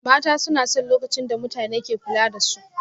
Mata suna son lokacin da mutane ke kula da su